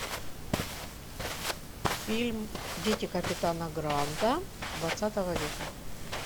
фильм дети капитана гранта двадцатого века